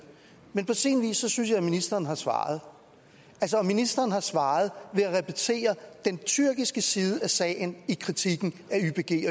men på sin vis synes jeg at ministeren har svaret ministeren har svaret ved at repetere den tyrkiske side af sagen i kritikken